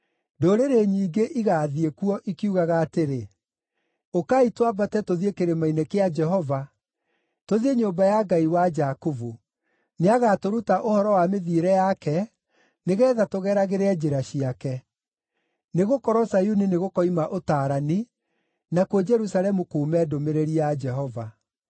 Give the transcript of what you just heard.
Ndũrĩrĩ nyingĩ igaathiĩ kuo, ikiugaga atĩrĩ, “Ũkai twambate tũthiĩ kĩrĩma‑inĩ kĩa Jehova, tũthiĩ nyũmba ya Ngai wa Jakubu. Nĩagatũruta ũhoro wa mĩthiĩre yake, nĩgeetha tũgeragĩre njĩra ciake.” Nĩgũkorwo Zayuni nĩgũkoima ũtaarani, nakuo Jerusalemu kuume ndũmĩrĩri ya Jehova.